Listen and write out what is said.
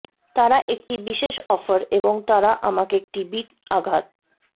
তারা একটি বিশেষ অফার এবং তারা আমাকে একটি বিট আঘাত